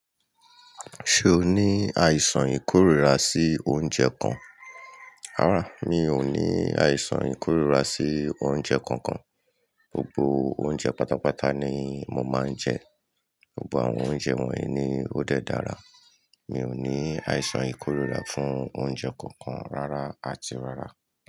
Ṣé o ní àìsàn ìkórìíra sí oúnjẹ kan? Rárá, mi ò ní àìsàn ìkórìíra sí oúnjẹ kankan. Gbogbo oúnjẹ pátápátá ni mo máa ń jẹ. Gbogbo àwọn oúnjẹ wọ̀nyí ni ó dẹ dára. Mi ò ní àìsàn ìkórìíra fún oúnjẹ kankan rárá àti rárá.